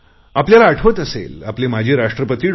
आपल्याला आठवत असेल आपले माजी राष्ट्रपती डॉ